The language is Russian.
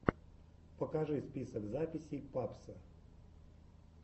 покажи список записей папсо